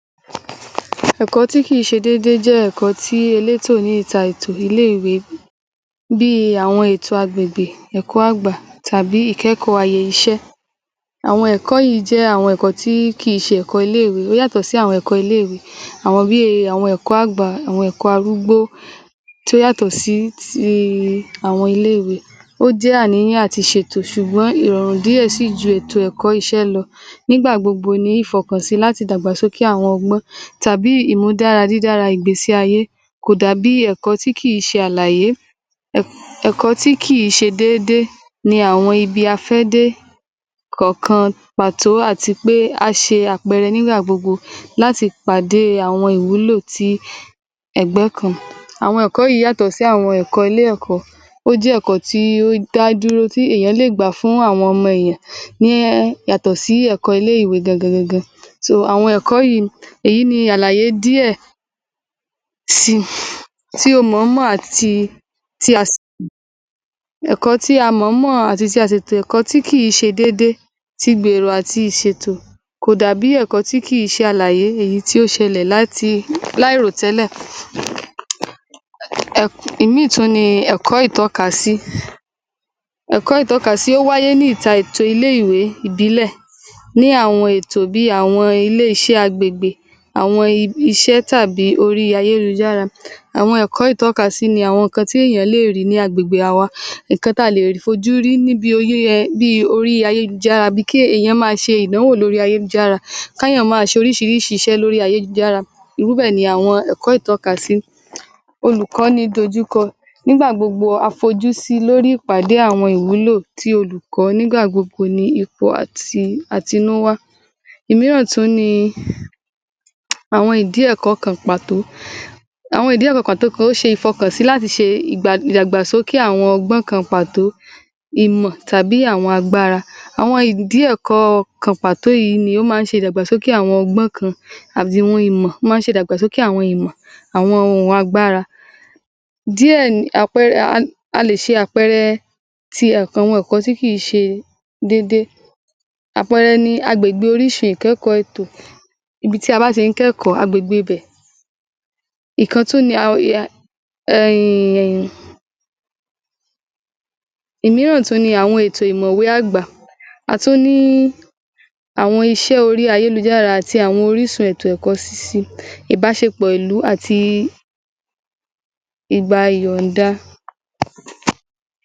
kínni àwọn ìyọnu tàbí àbájáde tó ń bọ̀ láti inú ìtọ́jú tí kò pè é àti báwó ní àwọn akọ́ṣẹ́mọṣẹ́ ìlera ti lè tọ́ àwọn obìǹrín tó lóyún sọ́nà láti ma a ṣe ìtójú lóórèkóórè àkọ́kọ́ ìtọjú ojú tí kòpé ó lè fá aá ijàǹbá tó pọ̀ fún ọmọ tó wà nínu oyún àti fún ìyá á rẹ̀ fún àpẹẹrẹ ìyá tó ní oyún nínú tí kò sì lọ sí ilé ìwòsàǹ kó ní mọ ọ irú ìpò tí í ọmọ yìí wá à bóyá óṣe dáadáa tàbí kò ṣe dáadáa bóyá ó ń mí tàbí kò mí bóyá kò dàgbà bó ṣe yẹ kó dàgbà bóyá ọmọ yìí tiẹ̀ ti kú sínú irú ìyá yìí tí ò lo sí ilé ìwòsàn kò ní mo ohun tó yẹ kí ó ṣe kò ní mọ ọ irú ìpò tí ọmọ yíì wà ósìlẹ̀se íjàǹbá èyí tó lágbára fún íjàǹbá kejì tó ó le òhun náà nipé ó lè fa ikú aláboyún yìí fún àpẹẹrẹ ẹni tó ní àìaàn kan lára bóyá à àtọ̀gbẹ tàbí tó ní àìsàn tí ó sì gbé ọmọ sínú tí kòsì lọsí ilé ìwòsàn tàbí ẹjẹ́kíá sọpé ọmọ yìí tiẹ̀ ti kú sínú rẹ̀ tí kò si mọ̀ irú arábìnrín bẹ́ ẹ̀ ó fẹ́ ó fẹ́ dá ara rẹ̀ légbodò ó fẹ́ dá èmí ara rẹ̀ légbodò to rí pé irú obìnrin bẹ́ ẹ̀ tí ọmọ yìí bá kú sínú rẹ̀ ẹ̀ tí kò sì mọ̀ ọ̀ ò ma ba ilé ọmọ yẹ́ń jẹ́ ẹ́ ò ma ba ilé ọmọ náà jẹ́ ẹ́ tí kò sì ní gbà á ní àyè óṣeeṣé kó mà ǹ ní oyún ìmí í mọ̀ ọ́ tí tí jésù á fi dé é óṣe pàtàkì kí aláboyún má á lọsí ilé ìwòsàn lóórèkóórè ohun ìkéta tí agbọ́dọ̀ mọ̀ ọ̀ ohun nipé nígbà tí arábìnrín bá ń lọ sí ilé ìwòsàn lóórèkóórè ta bá rí àìsàn tó wà àgọ́ ara ó ma tètè kíyèsí àwọn ohun tó ye kó ṣe àwọn ohun tíò kò ye kó ṣe ìrìn tó ye kó ìgésẹ̀ tó ye kó gbé ó ma sáré gbe tí irú obìǹrin yìí tó n lọsi tọ́ ń lọsí ilé ìwòsàn ní gbogbo ìgbà àwọn àìsàn yẹn ohunkóhun tí tí ó bá wà ní àgọ́ rẹ̀ ẹ̀ wọ́n àti tètè rí í wọ́n wọ́n á lẹ̀ ṣe ìtọ́jú tó tó péye fún-ún enití kò lọ si ilé ìwòsàn fún ìtọjú irú eni bẹ́ ẹ̀ nígbàtí ó ń bá á bímọ oṣééṣe kó ní àwọn ìdojúko tó lágbára àwọn ìdojúko tó lágbára tó jẹ́pé ólè pàdà jẹ́pé iṣẹ́ abẹ ló ma ṣe iṣé abẹ yìí sílè já sí ikú.